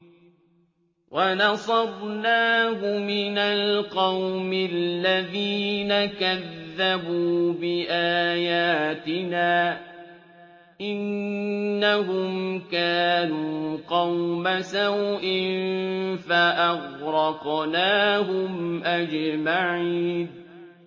وَنَصَرْنَاهُ مِنَ الْقَوْمِ الَّذِينَ كَذَّبُوا بِآيَاتِنَا ۚ إِنَّهُمْ كَانُوا قَوْمَ سَوْءٍ فَأَغْرَقْنَاهُمْ أَجْمَعِينَ